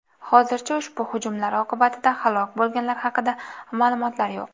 Hozircha ushbu hujumlar oqibatida halok bo‘lganlar haqida ma’lumotlar yo‘q.